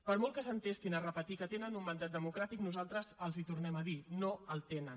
per molt que s’entestin a repetir que tenen un mandat democràtic nosaltres els ho tornem a dir no el tenen